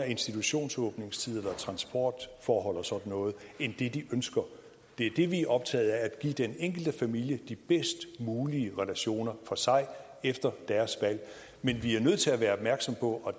institutionsåbningstider eller transportforhold og sådan noget end den de ønsker det er det vi er optaget af altså at give den enkelte familie de bedst mulige relationer for sig og efter deres valg men vi er nødt til at være opmærksomme på og